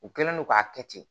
U kɛlen don k'a kɛ ten